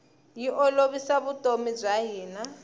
yi olovisa vutomi bya hina